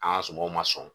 An ka sumanw ma sɔn